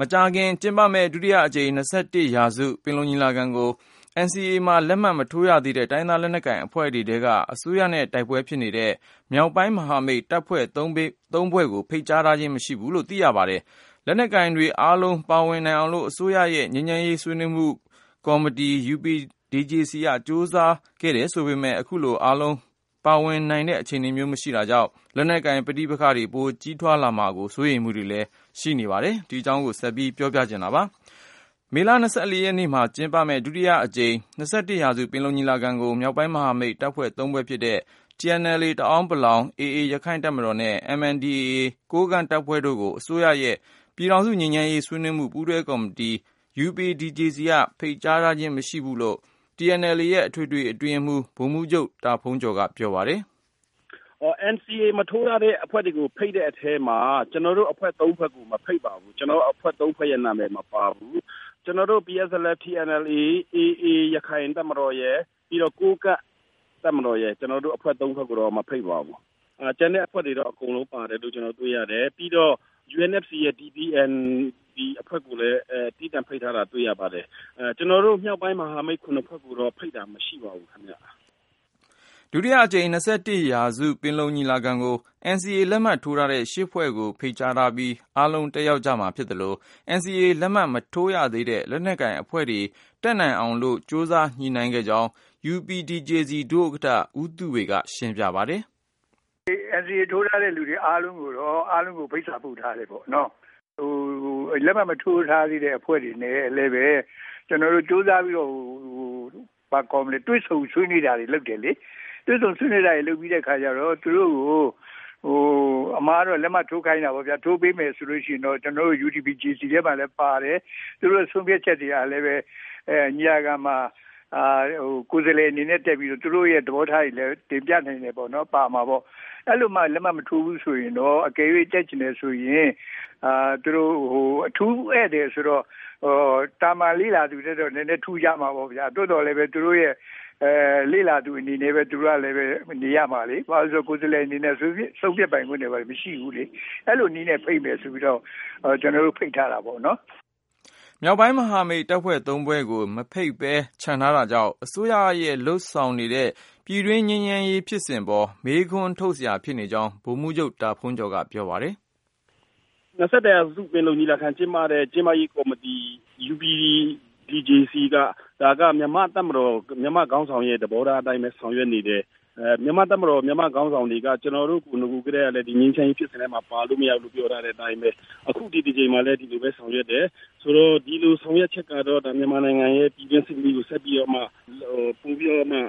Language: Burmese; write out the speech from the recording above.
မကြာခင်ကျင်းပမယ့် ဒုတိယအကြိမ် ၂၁ရာစု ပင်လုံညီလာခံကို NCA မှာ လက်မှတ်မထိုးရသေးတဲ့ တိုင်းရင်းသားလက်နက်ကိုင် အဖွဲ့တွေ ထဲက အစိုးရနဲ့တိုက်ပွဲဖြစ်နေတဲ့ မြောက်ပိုင်းမဟာမိတ် တပ်ဖွဲ့၃ဖွဲ့ကို ဖိတ်ကြားခြင်းမရှိဘူးလို့သိရပါတယ်။ လက်နက်ကိုင်တွေအားလုံး ပါဝင် နိုင်အောင်လို့ အစိုးရရဲ့ ငြိမ်းချမ်းရေး ဆွေးနွေးမှု ပူးတွဲကော်တီ UPDJC က ကြိုးစားခဲ့တယ် ဆိုပေမယ့် ၊ အခုလို အားလုံးပါဝင်နိုင်တဲ့ အခြေနေမျိုး မရှိတာကြောင့် လက်နက်ကိုင်ပဋိပက္ခတွေ ပိုကြီးထွားလာမှာကို စိုးရိမ်မှုတွေလည်း ရှိနေပါတယ်။ ဆက်သွယ်မေးမြန်းထားတဲ့ ကိုဉာဏ်ဝင်းအောင်က တင်ပြပါမယ်။ မေလ ၂၄ ရက်နေ့မှာကျင်းပမယ့် ဒုတိယအကြိမ် ၂၁ရာစု ပင်လုံညီလာခံကို မြောက်ပိုင်းမဟာမိတ် တပ်ဖွဲ့၃ဖွဲ့ဖြစ်တဲ့ TNLA တအာင်းပလောင် တပ်ဖွဲ့၊ AA ရခိုင့်တပ်မတော်နဲ့ MNDAA ကိုးကန့်တပ်ဖွဲ့တို့ကို အစိုးရရဲ့ ပြည်ထောင်စုငြိမ်းချမ်းရေး ဆွေးနွေးမှု ပူးတွဲကော်မတီ UPDJC က ဖိတ်ကြားခြင်း မရှိဘူးလို့ TNLA ရဲ့ အထွေထွေအတွင်းရေးမှူး ဗိုလ်မှူးချုပ် တာဖုန်းကျော်က ပြောပါတယ်။ “ NCA ကို မထိုးရသေးတဲ့ အဖွဲ့တွေကို ဖိတ်တဲ့အထဲမှာ ကျနော်တို့အဖွဲ့ ၃ဖွဲ့ကို မဖိတ်ပါဘူး။ ကျနော်တို့ ၃ဖွဲ့ရဲ့ နာမည်မပါဘူး။ ကျနော်တို့ TNLA၊ AA ရခိုင်တပ်မတော်ရယ် ပြီးတော့ ကိုးကန့်တပ်မတော်ရယ် ကျနော်တို့အဖွဲ့ ၃ဖွဲ့ကိုတော့ မဖိတ်ပါဘူး။ ကျန်တဲ့အဖွဲ့တွေတော့ အကုန်လုံး ပါတယ်လို့ ကျနော်တို့တွေ့ရတယ်။ ပြီးတော့ UNFC ရဲ့ DPN အဖွဲ့ကိုလည်း သီးသန့်ဖိတ်ထားတာ တွေ့ရပါတယ်။ ကျနော်တို့ မြောက်ပိုင်း မဟာမိတ် ဖွဲ့ကိုတော့ ဖိတ်တာ မရှိပါဘူးခင်ဗျ ” ဒုတိယအကြိမ် ၂၁ရာစု ပင်လုံညီလာခံကို NCA လက်မှတ်ထိုးထားတဲ့ ၈ ဖွဲ့ကို ဖိတ်ကြားထားပြီး အားလုံးတက်ရောက်ကြမှာဖြစ်သလို၊ NCA လက်မှတ်မထိုးရသေးတဲ့ လက်နက်ကိုင်အဖွဲ့တွေ တက်နိုင်အောင်လို့လည်း ကြိုးစားညှိနှိုင်းခဲ့ကြောင်း UPDJC ဒုဥက္ကဋ္ဌ ဦးသုဝေက ရှင်းပြပါ တယ်။ "NCA ထိုးထားတဲ့သူတွေ အားလုံးကိုတော့ ဖိတ်စာပို့ထားတယ်ပေါ့။ လက်မှတ်မထိုးထားသေးတဲ့အဖွဲ့တွေနဲ့ ကျနော်တို့ ကြိုးစားပြီးတော့ တွေ့ဆုံဆွေးနွေးနေတာတွေ လုပ်တယ်လေ။ တွေ့ဆုံဆွေးနွေးနေပြီးတဲ့အခါကျတော့ သူတို့ကို အမှန်ကတော့ လက်မှတ်ထိုးခိုင်းတာပေါ့ကွာ။ ထိုးပေးမယ်ဆိုရင်တော့ UPDJC လည်းပါတယ်။ သူတို့ရဲ့ဆုံးဖြတ်ချက်တွေကလည်း ညီလာခံမှာ ကိုယ်စားလှယ်အနေနဲ့တက်ပြီးတော့ သူတို့ရဲ့ သဘောထားတွေလည်း တင်ပြနိုင်တယ်ပေါ့။ အဲ့လိုမှ လက်မှတ်မထိုးဘူးဆိုရင်တော့ တကယ်လို့ တက်ချင်တယ်ဆိုရင် သူတို့ အထူးဧည့်သည်ဆိုတော့ သာမာန်လေ့လာသူထက်စာရင်တော့ နည်းနည်းထူးခြားမှာပေါ့ဗျာ။ သို့သော်သူတို့လေ့လာသူအနေနဲ့ပဲ နေရာမှာလေ။ ဆုံးဖြတ်ပိုင်ခွင့်တွေ ဘာတွေမရှိဘူးလေ။ အဲ့လိုနည်းနဲ့ဖိတ်မယ်ဆိုပြီး ကျနော်တို့ ဖိတ်ထားတာပေါ့။" မြောက်ပိုင်းမဟာမိတ် တပ်ဖွဲ့၃ဖွဲ့ကို မဖိတ်ပဲ ချန်ထားတာကြောင့် အစိုးရကလုပ်ဆောင်နေတဲ့ ပြည်တွင်းငြိမ်းချမ်းရေးဖြစ်စဉ်ပေါ် မေးခွန်းထုတ် စရာဖြစ်နေကြောင်း ဗိုလ်မှူးချုပ် တာဖုန်းကျော်က ပြောပါတယ်။ “ ၂၁ရာစု ပင်လုံညီလာခံကျင်းပရေး ကော်မတီ UPDJC က - ဒါက မြန်မာ့တပ်မတော် မြန်မာ့ခေါင်းဆောင်ရဲ့ သဘောထား အတိုင်းပဲ ဆောင်ရွက်နေတယ်။ မြန်မာ့တပ်မတော် မြန်မာ့ခေါင်းဆောင်တွေက ကျနော်တို့ကို နဂိုကတည်းကလည်း ဒီငြိမ်းချမ်းရေး ဖြစ်စဉ်ထဲမှာ ပါလို့ မရဘူးလို့ ပြောထားတဲ့အတိုင်းပဲ၊ အခုဒီတကြိမ်မှာလည်း ဒီလိုပဲဆောင်ရွက်တယ်။ ဆိုတော့ ဒီလိုဆောင်ရွက်ချက်ကတော့ မြန်မာနိုင်ငံရဲ့ ပြည်တွင်းစစ်မီးကို ဆက်ပြီးတော့မှ ပိုပြီးတော့မှ